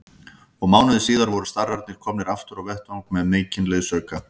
Og mánuði síðar voru starrarnir komnir aftur á vettvang með mikinn liðsauka.